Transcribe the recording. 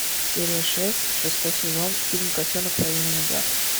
серия шесть шестой сезон фильм котенок по имени гав